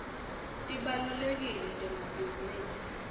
tibalulekile temabhizinisi